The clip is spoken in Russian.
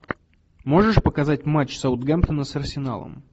можешь показать матч саутгемптона с арсеналом